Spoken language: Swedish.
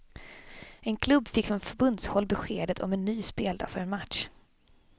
En klubb fick från förbundshåll beskedet om en ny speldag för en match.